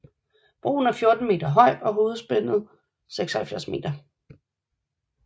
Broen er 14 meter høj og hovedspændet er 76 meter